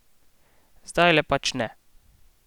Zdajle pač ne.